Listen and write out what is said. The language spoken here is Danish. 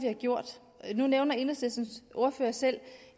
har gjort nu nævner enhedslistens ordfører selv